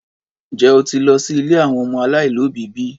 Njẹ́ o ti lọ sí ilé àwọn ọmọ aláìlóbìí bi?